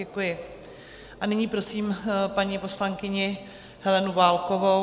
Děkuji a nyní prosím paní poslankyni Helenu Válkovou.